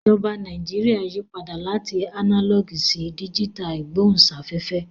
Ìjọba Nàìjíríà yí padà láti ánálọ̀gì sí díjítà ìgbóhùnsáfẹ́fẹ́